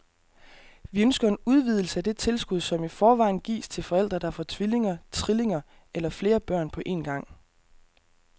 Vi ønsker en udvidelse af det tilskud, som i forvejen gives til forældre, der får tvillinger, trillinger eller flere børn på en gang.